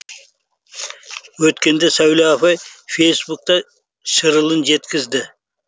өткенде сәуле апай фэйсбукта шырылын жеткізді